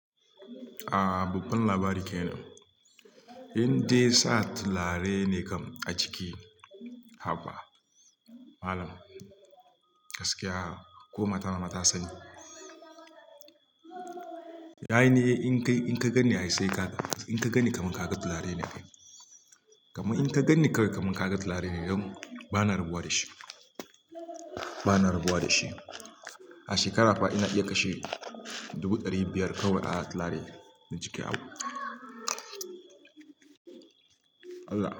Ahh, babban labari ke nan. Indai sa turare ne kam a jiki haba malam, gaskiya ko mata na ma ta sani. Yayin da in ka gani, in ka gani har sai ka ga. Inka ganni kamar kaga turare ne. Kaman in ka ganni kawai kaman ka ga tulare ne don ba na rabuwa da shi. Ba na rabuwa da shi. A shekara fa ina iya kashe dubu ɗari biyar kawai a tulare na jiki abu. Allah.